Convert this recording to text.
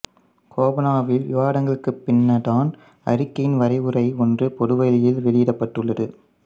கோபனாவனில் விவாதங்களுக்குப் பின்னதான அறிக்கையின் வரைவுரை ஒன்று பொதுவெளியில் வெளியிடப்பட்டுள்ளது